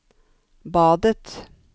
badet